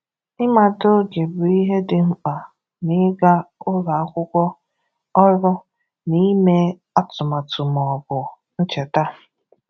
Ịmata oge bụ ihe dị mkpa n’ịga ụlọ akwụkwọ, ọrụ, n'ime atụmatu ma ọ bụ ncheta.